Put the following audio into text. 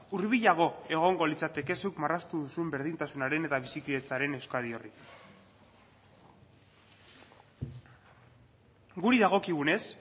hurbilago egongo litzateke zuk marraztu duzun berdintasunaren eta bizikidetzaren euskadi horri guri dagokigunez